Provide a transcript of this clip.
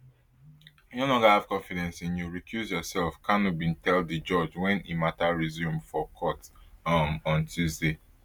i no longer have confidence in you recuse yourself kanu bin tell di judge wen e mata resume for court um on tuesday